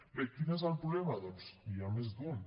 bé quin és el problema doncs n’hi ha més d’un